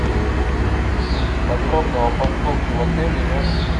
подробно о парковке в отеле и рядом с ним